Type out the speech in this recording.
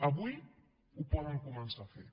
avui ho poden començar a fer